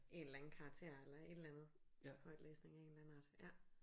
En eller anden karakter eller et eller andet højtlæsning af en eller anden art ja